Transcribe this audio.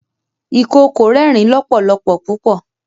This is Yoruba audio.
ìkookò rẹrin lọpọlọpọ pupọ.